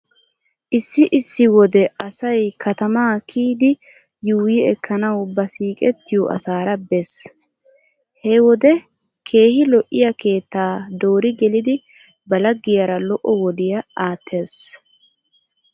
Issi issi wode asay katamaa kiyidi yuuyyi ekkanawu ba siiqettiyo asaara bees. He wode keehi lo'iya keettaa dori gelidi ba laggiyara lo'o wodiya aattees.